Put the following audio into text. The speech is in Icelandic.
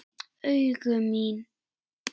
Augu mín.